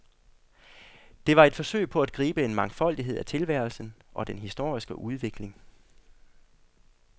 Det var et forsøg på at gribe en mangfoldighed af tilværelsen og den historiske udvikling.